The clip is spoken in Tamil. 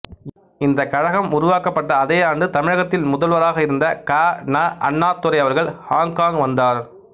இந்த கழகம் உருவாக்கப்பட்ட அதே ஆண்டு தமிழகத்தில் முதல்வராக இருந்த கா ந அண்ணாதுரை அவர்கள் ஹொங்கொங் வந்தார்